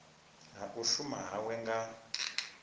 ha u shuma hawe nga